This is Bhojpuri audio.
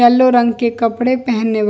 येल्लो रंग के कपड़े पहने --